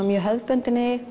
mjög hefðbundinni